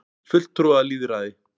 fulltrúalýðræði